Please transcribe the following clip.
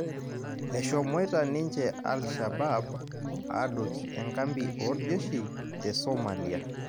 Eshomoita ninje alishabaab adoki enkapi orjeshi tesomalia